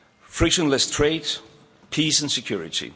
frictionless trade, peace and security.